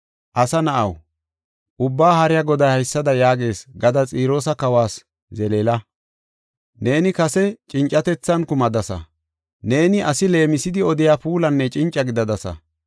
“Asa na7aw, Ubbaa Haariya Goday haysada yaagees gada Xiroosa kawas zeleela: ‘Neeni kase cincatethan kumadasa; neeni asi leemisidi odiya puulanne cinca gidadasa.